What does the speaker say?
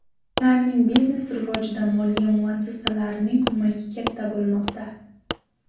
Ularning biznesi rivojida moliya muassasalarining ko‘magi katta bo‘lmoqda.